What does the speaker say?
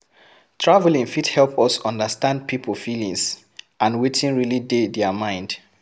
Traveling fit help us understand pipo feelings and wetin really dey their mind